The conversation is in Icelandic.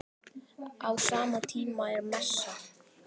Á sama tíma er messa.